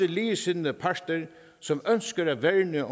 ligesindede parter som ønsker at værne